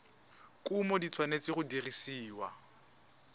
kumo di tshwanetse go dirisiwa